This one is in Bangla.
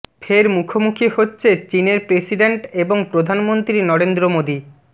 ফের মুখোমুখি হচ্ছে চিনের প্রেসিডেন্ট এবং প্রধানমন্ত্রী নরেন্দ্র মোদী